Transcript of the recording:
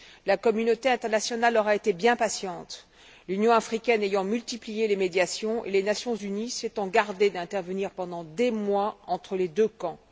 La communauté internationale aura été bien patiente, l'Union africaine ayant multiplié les médiations et les Nations unies s'étant gardées d'intervenir pendant des mois entre les deux camps.